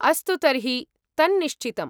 अस्तु तर्हि, तन्निश्चितम्।